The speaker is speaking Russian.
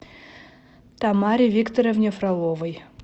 тамаре викторовне фроловой